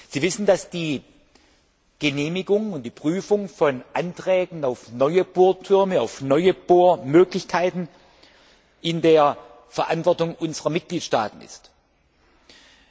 Sie wissen, dass die Genehmigung und die Prüfung von Anträgen auf neue Bohrtürme, auf neue Bohrmöglichkeiten in der Verantwortung unserer Mitgliedstaaten liegen.